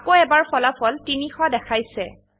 আকৌ এবাৰ ফলাফল ৩০০ দেখাইছে